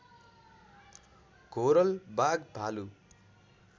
घोरल बाघ भालु